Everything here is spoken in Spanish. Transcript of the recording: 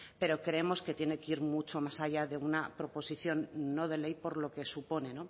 pero creemos que tiene que ir mucho más allá de una proposición no de ley por lo que supone